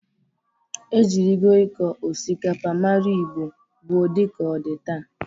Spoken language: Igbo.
E jịrịgị ịkọ osikapa mara Igbo gboo dị ka ọ dị taa.